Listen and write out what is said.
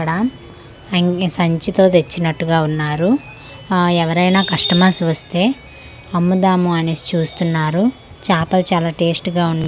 ఇక్కడ అన్ని సంచి తో తెచ్చినట్టుగా ఉన్నారు ఆ ఎవరైనా కస్టమర్స్ వస్తే అమ్ముదాము అనేసి చూస్తున్నారు చాపలు చాలా టేస్ట్ గా ఉన్నా--